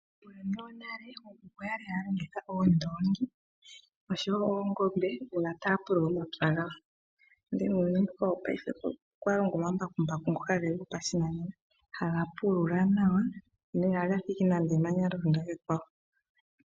Uuyuni wonale ookuku oyali haya longitha oondongi oshowo oongombe una taya pulula omapya gawo. Ndele muuyuni mbuka wopayife okwa longwa omambakumbaku haga pulula nawa no ihaga thigi nande emanya lya londa kekwawo.